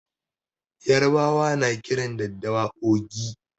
Yarbawa na kiran daddawa "ogi".